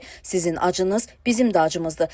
Sizin acınız bizim də acımızdır.